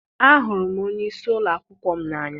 Ahụrụ m onye isi ụlọ akwụkwọ m n'anya.